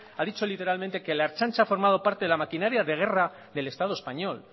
a dicho literalmente que la ertzaintza ha formado de la maquinaria de guerra del estado español